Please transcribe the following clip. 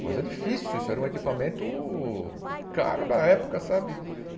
Coisa difícil, isso era um equipamento caro na época, sabe?